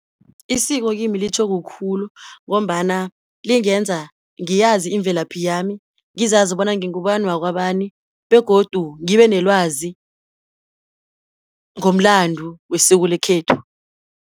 Isiko kimi litjho kukhulu, ngombana lingenza ngiyazi imvelaphi yami, ngizazi bona ngingubani wakwabani, begodu ngibe nelwazi ngomlando wesiko lekhethu.